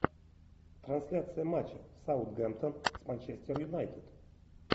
трансляция матча саутгемптон с манчестер юнайтед